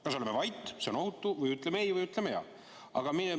Kas oleme vait – see on ohutu – või ütleme "ei" või ütleme "jaa"?